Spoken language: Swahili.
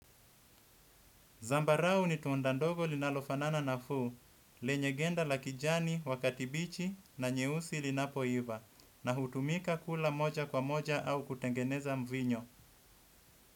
Zambarau ni tunda ndogo linalofanana na fuu. Lenye ganda la kijani wakati mbichi na nyeusi linapoiva na hutumika kula moja kwa moja au kutengeneza mvinyo.